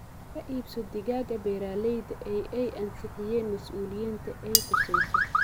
Ka iibso digaagga beeralayda ee ay ansixiyeen masuuliyiinta ay khusayso.